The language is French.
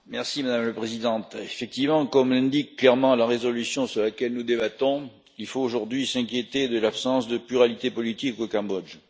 Madame la Présidente, effectivement, comme l'indique clairement la résolution sur laquelle nous débattons, il faut aujourd'hui s'inquiéter de l'absence de pluralité politique au Cambodge.